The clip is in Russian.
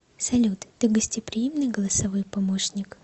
салют ты гостеприимный голосовой помощник